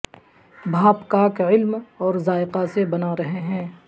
بھاپ کاک علم اور ذائقہ سے بنا رہے ہیں